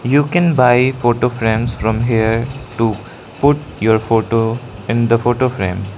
you can buy photo frames from here to put your photo in the photo frame.